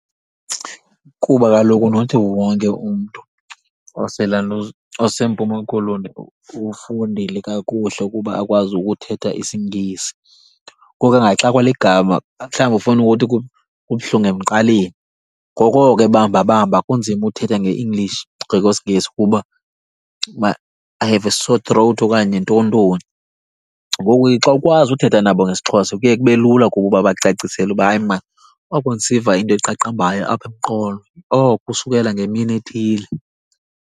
Kuba kaloku nothi wonke umntu oselantuza oseMpuma Koloni ufundile kakuhle ukuba akwazi ukuthetha isiNgesi. Ngoku angaxakwa ligama, mhlawumbi ufuna ukuthi kubuhlungu emqaleni. Ngoku oko ebambabamba kunzima uthetha nge-English, ngokwesiNgesi, ukuba uba I have a sore throat okanye ntoni ntoni. Ngoku ke xa ukwazi uthetha nabo ngesiXhosa kuye kube lula kubo uba bakucacisele uba hayi mani oko ndisiva into eqaqambayo apha emqolo, oko usukela ngemini ethile.